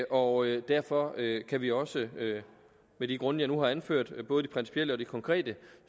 og derfor kan vi også med de grunde jeg nu har anført både de principielle og de konkrete